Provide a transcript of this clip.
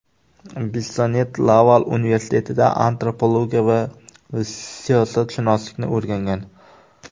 Bissonnet Laval universitetida antropologiya va siyosatshunoslikni o‘rgangan.